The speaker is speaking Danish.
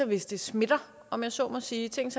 hvis det smitter om jeg så må sige tænk